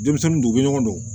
Denmisɛnnin dun u bɛ ɲɔgɔn dɔn